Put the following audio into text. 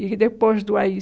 E depois do á i